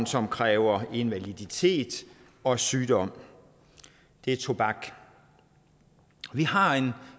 som kræver invaliditet og sygdom det er tobak vi har en